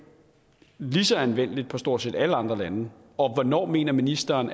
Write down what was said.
lige så anvendeligt argument på stort set alle andre lande og hvornår mener ministeren